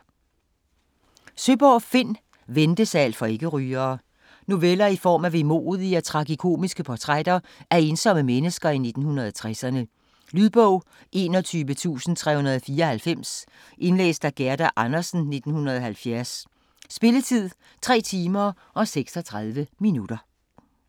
Søeborg, Finn: Ventesal for ikke-rygere Noveller i form af vemodige og tragikomiske portrætter af ensomme mennesker i 1960'erne. Lydbog 21394 Indlæst af Gerda Andersen, 1970. Spilletid: 3 timer, 36 minutter.